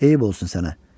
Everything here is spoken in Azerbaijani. Eyib olsun sənə.